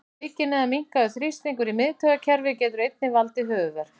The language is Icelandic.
Aukinn eða minnkaður þrýstingur í miðtaugakerfi getur einnig valdið höfuðverk.